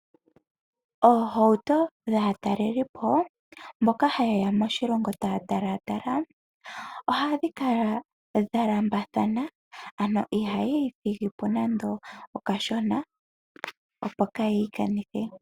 Oohauto dhaatalelipo mboka ha yeya moshilongo taya talatala ohadhi kala dha lambathana ano ihaya ithigipo nando okashona opo kaayi ikanithe.